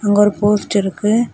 அங்கு ஒரு போஸ்ட் இருக்கு.